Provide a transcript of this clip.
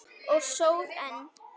Og sór enn.